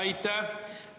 Aitäh!